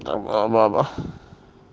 там а мама